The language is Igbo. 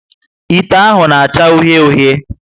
Ite ahụ na acha uhie uhie